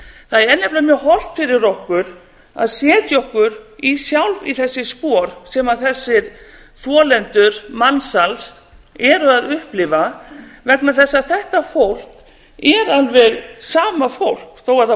það er nefnilega mjög hollt fyrir okkur að setja okkur sjálf í þessi spor sem þessir þolendur mansals eru að upplifa vegna þess að þetta fólk er alveg sama fólk þó að það búi